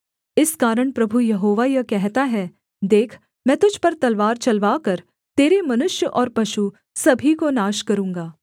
इस कारण प्रभु यहोवा यह कहता है देख मैं तुझ पर तलवार चलवाकर तेरे मनुष्य और पशु सभी को नाश करूँगा